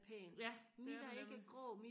ja det er det nemlig